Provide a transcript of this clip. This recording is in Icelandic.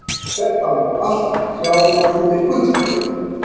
Þetta má allt sjá undir Gullkorn.